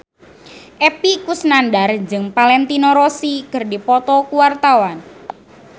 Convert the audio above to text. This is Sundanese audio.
Epy Kusnandar jeung Valentino Rossi keur dipoto ku wartawan